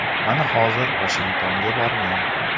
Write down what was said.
Mana hozir Vashingtonga borgan.